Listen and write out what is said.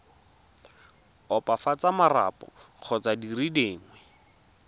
opafatsa marapo kgotsa dire dingwe